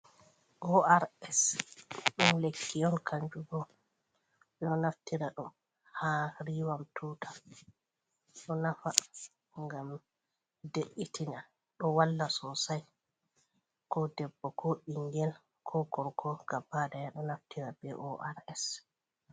Ors ɗum lekki on kanju bo ɗo naftira ɗo ha riwam tuta, ɗo nafa ngam de'itina ɗo walla sosai, ko debbo ko bingel ko gorko gaba ɗaya ɗo naftira be ors.